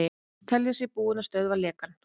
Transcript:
Telja sig búin að stöðva lekann